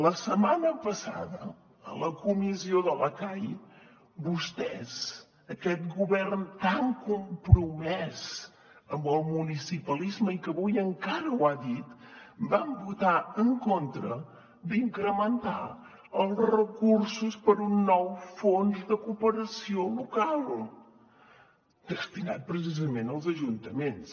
la setmana passada a la comissió de la cai vostès aquest govern tan compromès amb el municipalisme i que avui encara ho ha dit van votar en contra d’incrementar els recursos per a un nou fons de cooperació local destinat precisament als ajuntaments